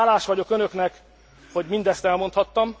Hálás vagyok önöknek, hogy mindezt elmondhattam.